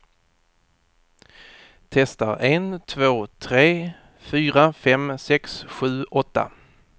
Testar en två tre fyra fem sex sju åtta.